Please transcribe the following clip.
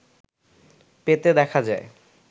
পেতে দেখা যায়